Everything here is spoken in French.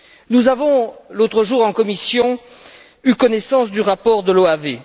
Nous avons, l'autre jour en commission, eu connaissance du rapport de l'OAV.